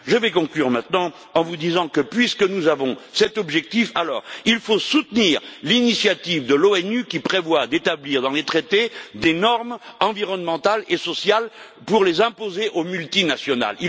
Je vais conclure maintenant en vous disant que, puisque nous nous sommes fixé cet objectif, il faut soutenir l'initiative de l'ONU qui prévoit d'établir dans les traités des normes environnementales et sociales pour les imposer aux multinationales.